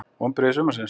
Vonbrigði sumarsins?